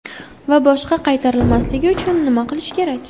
Va boshqa qaytarilmasligi uchun nima qilish kerak?